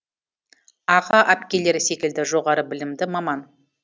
аға әпкелері секілді жоғары білімді маман